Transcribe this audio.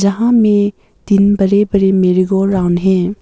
यहाँ मे तीन बड़े बड़े मेरे गोल राउंड हैं।